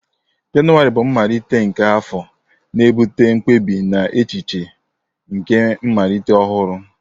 Jenụwarị bụ mmalite nke afọ, na-ebute mkpebi na echiche nke mmalite ọhụrụ.